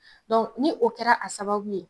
ni o kɛra a sababu ye